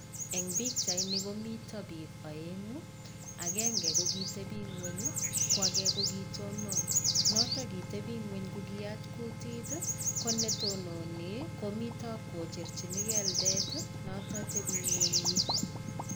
Eng pikyaitni komito bik aeng'u, agenge kokitebing'ony ko age kokitonon. Noto kitebing'ny kokiyat kutit ko, netotnoni komito kocherchini keldet noto tebing'onyi.